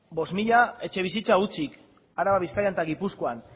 bost mila etxebizitza utzik araban bizkaian eta gipuzkoan